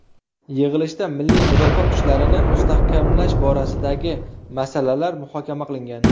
Yig‘ilishda milliy mudofaa kuchlarini mustahkamlash borasidagi masalalar muhokama qilingan.